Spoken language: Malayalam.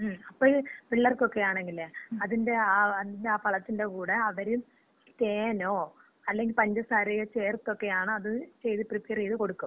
ങ്ങും, അപ്പഴ് പിള്ളേർക്കൊക്കയാണെങ്കിലെ അതിൻറെ ആ പളത്തിന്‍റ കൂടെ അവര് തേനോ അല്ലങ്കി പഞ്ചസാരയോ ചേർത്തൊക്കെയാണ് അത് ചെയ്ത് പ്രിപ്പയറ് ചെയ്ത് കൊടുക്കും.